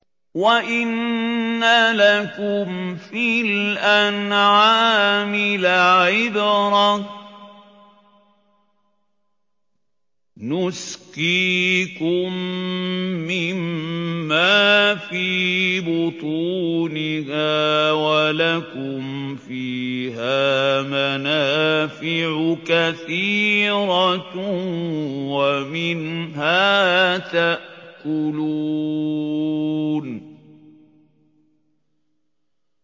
وَإِنَّ لَكُمْ فِي الْأَنْعَامِ لَعِبْرَةً ۖ نُّسْقِيكُم مِّمَّا فِي بُطُونِهَا وَلَكُمْ فِيهَا مَنَافِعُ كَثِيرَةٌ وَمِنْهَا تَأْكُلُونَ